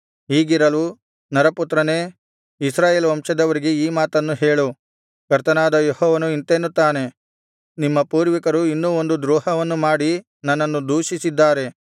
ಹೀಗಿರಲು ನರಪುತ್ರನೇ ಇಸ್ರಾಯೇಲ್ ವಂಶದವರಿಗೆ ಈ ಮಾತನ್ನು ಹೇಳು ಕರ್ತನಾದ ಯೆಹೋವನು ಇಂತೆನ್ನುತ್ತಾನೆ ನಿಮ್ಮ ಪೂರ್ವಿಕರು ಇನ್ನೂ ಒಂದು ದ್ರೋಹವನ್ನು ಮಾಡಿ ನನ್ನನ್ನು ದೂಷಿಸಿದ್ದಾರೆ